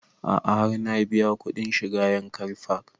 A'a har na biya kuɗin shiga yankari park